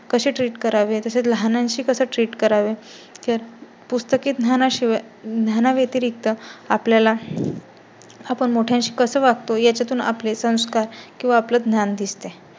कसे treat करावेत तसे लहान शी कसं treat करावे? पुस्तकी ज्ञाना शिवाय ज्ञाना व्यतिरिक्त आपल्याला. आपण मोठ्याशी कसे वागतो यातून आपले संस्कार किंवा आपले ज्ञान दिसते